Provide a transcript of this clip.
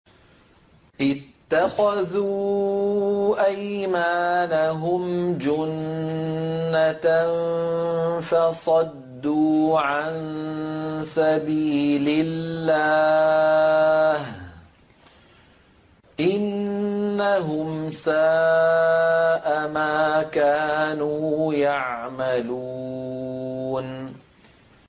اتَّخَذُوا أَيْمَانَهُمْ جُنَّةً فَصَدُّوا عَن سَبِيلِ اللَّهِ ۚ إِنَّهُمْ سَاءَ مَا كَانُوا يَعْمَلُونَ